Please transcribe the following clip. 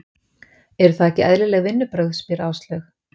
Eru það ekki eðlileg vinnubrögð? spyr Áslaug.